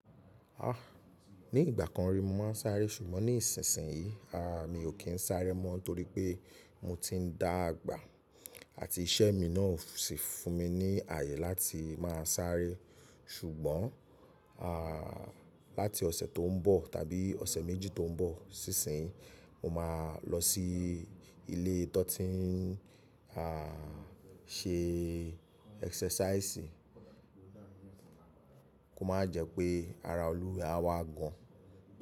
Ni ìgbà kan rí mo máa ń sáré sùgbọ́n ní ìsinsìnyí, mi ò kí ń sáré mọ́ torí pé mo ti ń dá àgbà àti iṣẹ́ mi náà o sì fún mi ní ààyè láti máa sáré. Ṣùgbọ́n láti ọ̀sẹ̀ tó ń bọ̀ tàbí ọ̀sẹ̀ méjì tó ń bọ̀ sísin yi mo máa lọ sí ilé tó ti ń ṣe ẹ́sẹ́sáìsì kó má jẹ́ pé ara olúwa ee a wà gan.